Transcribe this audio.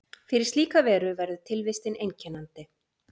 Fyrir slíka veru verður tilvistin einkennandi.